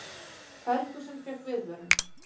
Ferguson fékk viðvörun